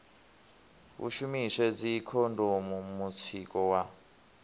hu shumiswe dzikhondomu mutsiko wa